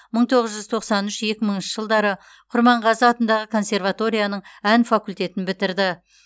мың тоғыз жүз тоқсан үш екі мыңыншы жылдары құрманғазы атындағы консерваторияның ән факультетін бітірді